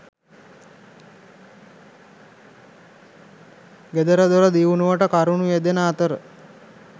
ගෙදරදොර දියුණුවට කරුණු යෙදෙන අතර